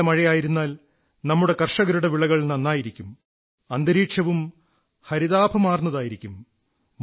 നല്ല മഴയായിരുന്നാൽ നമ്മുടെ കർഷകരുടെ വിളകൾ നന്നായിരിക്കും അന്തരീക്ഷവും ഹരിതാഭമാർന്നതായിരിക്കും